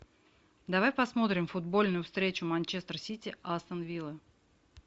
давай посмотрим футбольную встречу манчестер сити астон вилла